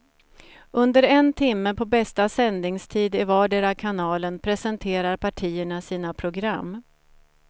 Under en timme på bästa sändningstid i vardera kanalen presenterar partierna sina program.